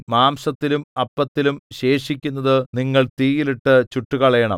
മാംസത്തിലും അപ്പത്തിലും ശേഷിക്കുന്നതു നിങ്ങൾ തീയിൽ ഇട്ടു ചുട്ടുകളയണം